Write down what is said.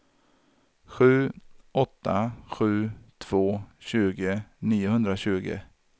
sju åtta sju två tjugo niohundratjugo